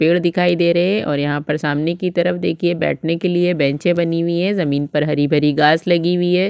पेड़ दिखाई दे रहे हे और यहाँ पर सामने की तरफ देखिए बैठने के लिए बेंचे बनी हुई हे ज़मीन पर हरी-भरी घास लगी हुई हे।